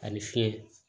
A bɛ fiɲɛ